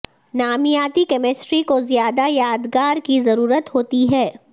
نامیاتی کیمسٹری کو زیادہ یادگار کی ضرورت ہوتی ہے